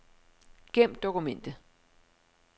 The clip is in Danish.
Gem dokument.